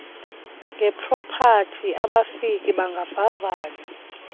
ngepropati abafiki bangavavanywa